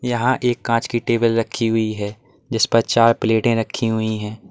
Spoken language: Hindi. यहां एक कांच की टेबल रखी हुई है जिस पर चार प्लेटें रखी हुई है।